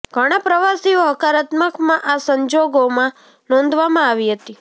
ધણા પ્રવાસીઓ હકારાત્મક માં આ સંજોગોમાં નોંધવામાં આવી હતી